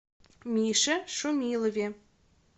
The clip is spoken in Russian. мише шумилове